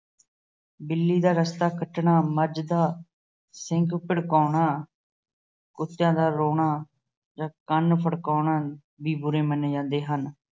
ਬਿੱਲੀ ਦਾ ਰਸਤਾ ਕੱਟਣਾ, ਮੱਝ ਦਾ ਸਿੰਗ ਭੜਕਾਉਣਾ, ਕੁੱਤਿਆਂ ਦਾ ਰੋਣਾ ਜਾਂ ਕੰਨ ਫੜਕਾਉਣਾ ਵੀ ਬੁਰੇ ਮੰਨੇ ਜਾਂਦੇ ਹਨ।